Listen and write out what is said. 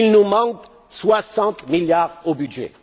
Il manque 60 milliards au budget.